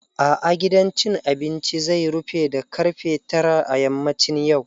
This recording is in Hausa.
A'a, gidan cin abinci zai rufe da ƙarfe tara a yammacin yau.